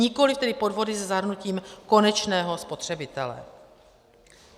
Nikoli tedy podvody se zahrnutím konečného spotřebitele.